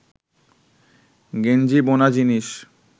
গেঞ্জি বোনা জিনিস